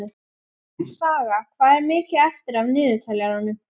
Saga, hvað er mikið eftir af niðurteljaranum?